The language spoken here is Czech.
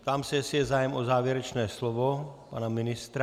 Ptám se, jestli je zájem o závěrečné slovo pana ministra.